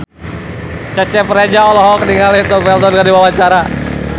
Cecep Reza olohok ningali Tom Felton keur diwawancara